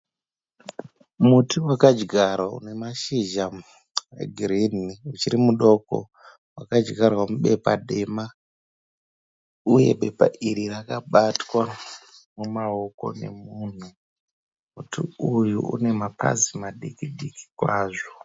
Muti wakadyarwa une mashizha egirini uchiri mudoko. Wakadyarwa mubepa dema uye bepa iri rakabatwa mumaoko emunhu. Muti uyu une mapazi madiki-diki kwazvo.